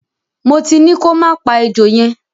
Mo ti ní kọ má pa ejò yẹn.